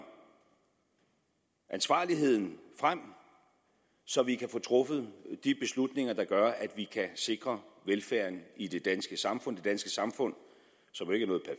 ansvarligheden frem så vi kan få truffet de beslutninger der gør at vi kan sikre velfærden i det danske samfund det danske samfund som jo